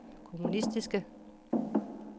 kommunistiske